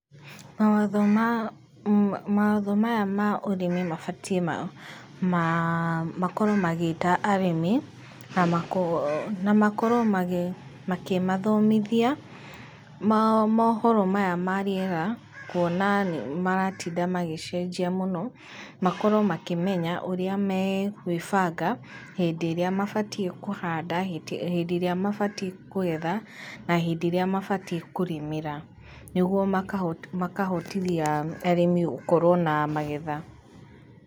Mawatho maya ma ũrĩmi mabatiĩ makorwo magĩĩta arĩmi, na makorwo makĩmathomithia mohoro maya ma rĩera, kuona nĩ maratinda magĩcenjia mũno, makorwo makĩmenya ũrĩa megũibanga hĩndĩ ĩrĩa mabatiĩ kũhanda, hĩndĩ ĩrĩa mabatiĩ kũgetha, na hĩndĩ ĩrĩa mabatiĩ kũrĩmĩra, nĩ guoa makahotithia arĩmi gũkorwo na magetha.